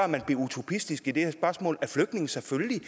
man blev utopisk i det her spørgsmål altså at flygtninge selvfølgelig